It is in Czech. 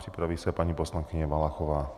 Připraví se paní poslankyně Valachová.